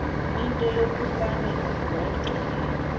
into yokufane agweqe